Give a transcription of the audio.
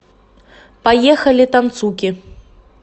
поехали танцуки